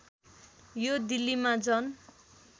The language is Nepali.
यो दिल्लीमा जन